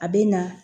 A bɛ na